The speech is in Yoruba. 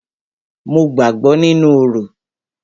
Mo gbàgbọ́ nínú orò.